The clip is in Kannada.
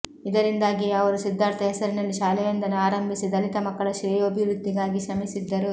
ಇದರಿಂದಾಗಿಯೇ ಅವರು ಸಿದ್ಧಾರ್ಥ ಹೆಸರಿನಲ್ಲಿ ಶಾಲೆಯೊಂದನ್ನು ಆರಂಭಿಸಿ ದಲಿತ ಮಕ್ಕಳ ಶ್ರೇಯೋಭಿವೃದ್ಧಿಗಾಗಿ ಶ್ರಮಿಸಿದ್ದರು